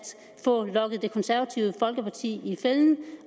få lokket det konservative folkeparti i fælden